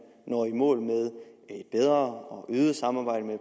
når i mål med et bedre og et øget samarbejde med